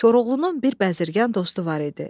Koroğlunun bir bəzirgan dostu var idi.